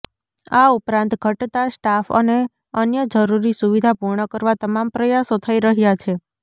આ ઉપરાંત ઘટતા સ્ટાફ અને અન્ય જરૃરી સુવિધા પુર્ણ કરવા તમામ પ્રયાસો થઈ રહ્યાં છે